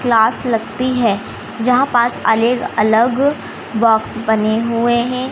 Class लगती है जहां पास अले अलग बॉक्स बने हुए हैं।